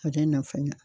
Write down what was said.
O de nafa